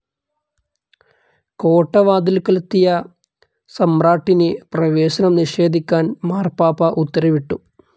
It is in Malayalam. കോട്ടവാതിൽക്കലെത്തിയ സമ്രാട്ടിന് പ്രവേശനം നിഷേധിക്കാൻ മാർപ്പാപ്പ ഉത്തരവിട്ടു.